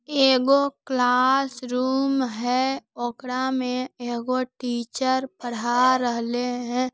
एगो क्लासरूम है ऑकड़ा में एगो टीचर पढ़ा रहले है।